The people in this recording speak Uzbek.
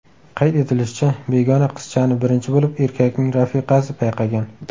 Qayd etilishicha, begona qizchani birinchi bo‘lib erkakning rafiqasi payqagan.